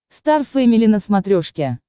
стар фэмили на смотрешке